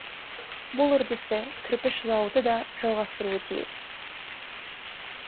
бұл үрдісті кірпіш зауыты да жалғастыруы тиіс